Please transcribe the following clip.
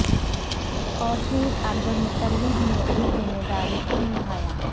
اور پھر عبدالمطلب نے اس ذمے داری کو نبھایا